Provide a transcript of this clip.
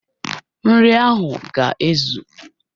Nri ahụ ga ezu